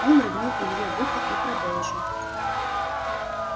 он рыгнул илье в ухо и продолжил